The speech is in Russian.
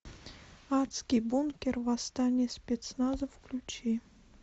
адский бункер восстание спецназа включи